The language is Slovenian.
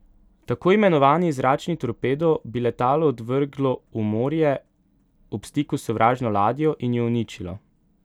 Tako imenovani zračni torpedo bi letalo odvrglo v morje ob stiku s sovražno ladjo in jo uničilo.